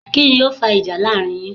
Kíni o fa ìjà láàrin yin?